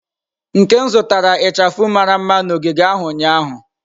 Nkem zụtara ichafu mara mma na ogige ahụ ụnyahụ.